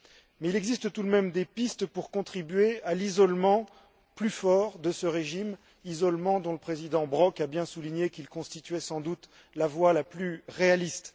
Mais il existe tout de même des pistes pour contribuer à l'isolement plus fort de ce régime, isolement dont le président Brok a bien souligné qu'il constituait sans doute la voie la plus réaliste.